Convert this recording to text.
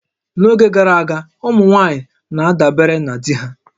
N'oge gara aga, ụmụ nwaanyị na-adabere na di ha